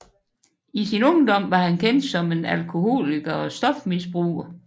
I sin ungdom var han kendt som en alkoholiker og stofmisbruger